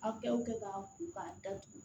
Aw kɛw kɛ k'a ko k'a datugu